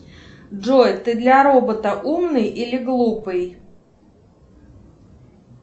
джой ты для робота умный или глупый